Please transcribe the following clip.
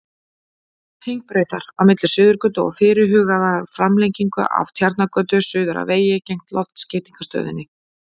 Hringbrautar, á milli Suðurgötu og fyrirhugaðrar framlengingu af Tjarnargötu, suður að vegi gegnt Loftskeytastöðinni.